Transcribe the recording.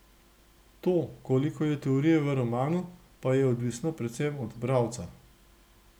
To, koliko je teorije v romanu, pa je odvisno predvsem od bralca.